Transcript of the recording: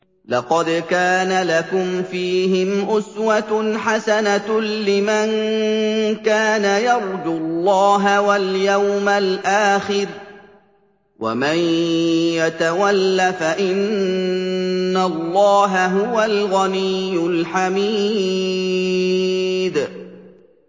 لَقَدْ كَانَ لَكُمْ فِيهِمْ أُسْوَةٌ حَسَنَةٌ لِّمَن كَانَ يَرْجُو اللَّهَ وَالْيَوْمَ الْآخِرَ ۚ وَمَن يَتَوَلَّ فَإِنَّ اللَّهَ هُوَ الْغَنِيُّ الْحَمِيدُ